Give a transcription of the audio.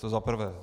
To za prvé.